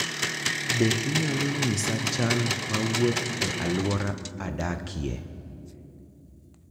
Bende inyalo nyisa chal ma wuoth e alwora adakie